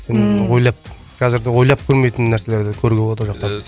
ммм ойлап қазірде ойлап көрмейтін нәрселерді көруге болады ол жақтан